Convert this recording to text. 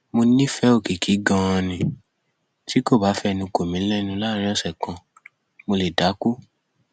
mo nífẹẹ òkìkí ganan ni tí kò bá fẹnu kò mí lẹnu láàrin ọsẹ kan mo lè dákú